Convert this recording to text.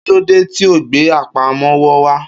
Kí ló dé tí o gbe àpamọ́wọ́ wá̧.